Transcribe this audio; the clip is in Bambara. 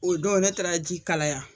O don ne taara ji kalaya